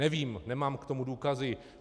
Nevím, nemám k tomu důkazy.